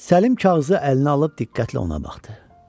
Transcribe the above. Səlim kağızı əlinə alıb diqqətlə ona baxdı.